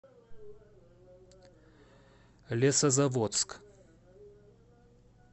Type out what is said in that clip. лесозаводск